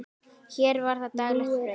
Hér var það daglegt brauð.